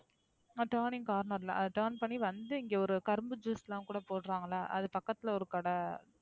Turning corner ல Turn பண்ணி வந்து இங்க ஒரு கரும்பு Juice லாம் கூட போட்றாங்கல்ல அது பக்கத்துல ஒரு கடை.